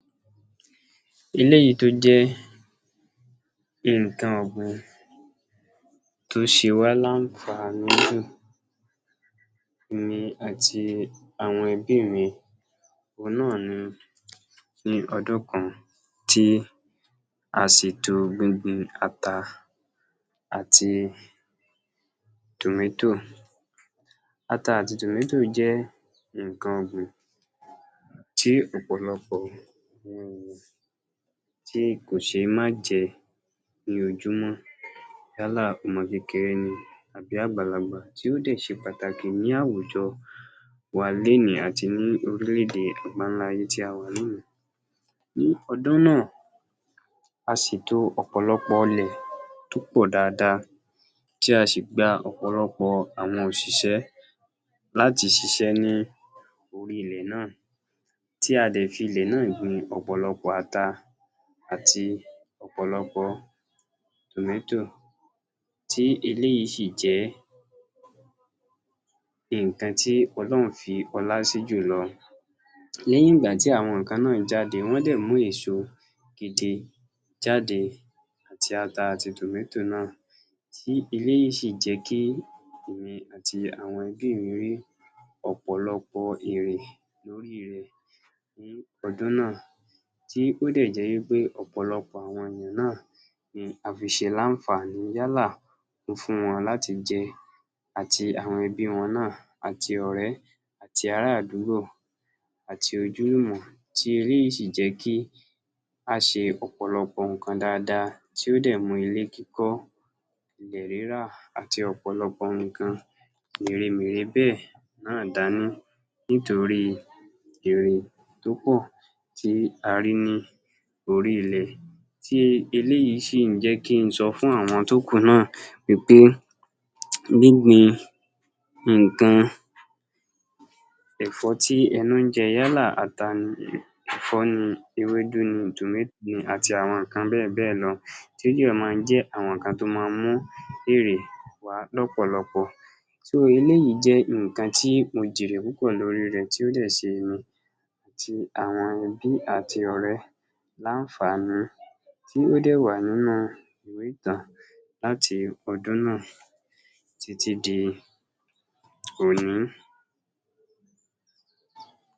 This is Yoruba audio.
Eléyìí tó jẹ́ nǹkan ọ̀gbìn tó ṣe wá láǹfàní jù èmi àti àwọn ẹbí mi, ohun náà ni ọdún kan tí a ṣètò gbingbin ata àti tòmẹ́tò, ata àti tòmẹ́tò jẹ́ nǹkan ọ̀gbìn tí ọ̀pọ̀lọpọ̀ wọn ò, tí kò ṣe é má jẹ ní ojúmọ́, yálà ọmọ kékeré ni tàbí àgbàlagbà, tí ó dẹ̀ ṣe pàtàkì ní àwùjọ wa lénìí àti ní orílẹ̀-èdè àgbáńlá ayé tí a wà lónìí. Ní ọdún náà, a ṣètò ọ̀pọ̀lọpọ̀ ilẹ̀ tó pọ̀ dáadáa, tí a sì gba ọ̀pọ̀lọpọ̀ àwọn òṣìṣẹ́ láti ṣiṣẹ́ ní orí ilẹ̀ náà, tí a dẹ̀ fi ilẹ̀ náà gbin ọ̀pọ̀lọpọ̀ ata àti ọ̀pọ̀lọpọ̀ tòmẹ́tò, tí eléyìí sì jẹ́ nǹkan tí olóun fi ọlá sí jùlọ. Lẹ́yìn ìgbà tí àwọn nǹkan náà jáde, wọ́n dẹ̀ mú eso gidi jáde, àti ata àti tòmẹ́tò náà, tí eléyìí sì jẹ́ kí èmi àti àwọn ẹbí mi rí ọ̀pọ̀lọpọ̀ èrè lórí rẹ̀ ní ọdún náà, tí ó dẹ̀ jẹ́ wípé ọ̀pọ̀lọpọ̀ àwọn ènìyàn náà ni a fi ṣe láǹfàní, yálà mo fún wọn láti jẹ àti àwọn ẹbí wọn náà, àti ọ̀rẹ́ àti ará àdúgbò àti ojúlùmọ̀, tí eléyìí sì jẹ́ kí a ṣe ọ̀pọ̀lọpọ̀ nǹkan dáadáa, tí ó dẹ̀ mú ilé kíkọ́, ilẹ̀ rírà àti ọ̀pọ̀lọpọ̀ nǹkan mèremère béẹ̀ náà dání, nítorí èrè tó pọ̀ tí a rí ní orí ilẹ̀, tí eléyìí sì ń jẹ́ kí n sọ fún àwọn tó kù náà wípé gbíngbin nǹkan, ẹ̀fọ́ tí ẹnu ń jẹ, yálà ata ni, ẹ̀fọ́ ni, ewédu ni, tòmẹ́tò ni àti àwọn nǹkan bẹ́ẹ̀ bẹ́ẹ̀ lọ, tó máa ń jẹ́ àwọn nǹkan tó máa ń mú èrè wá lọ́pọ̀lọpọ̀, so, eléyìí jẹ́ nǹkan tí mo jèrè púpọ̀ lórí rẹ̀, tí ó dẹ̀ ṣe èmi àti ẹbí àti ọ̀rẹ́ láǹfàní tí ó dẹ̀ wà nínú ìwé ìtàn láti ọdún náà títí di òní